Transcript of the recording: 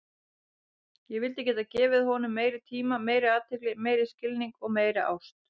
Ég vildi geta gefið honum meiri tíma, meiri athygli, meiri skilning og meiri ást.